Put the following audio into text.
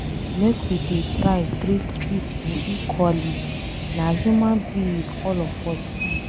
Make we dey try treat pipo equally, na human being all of us be.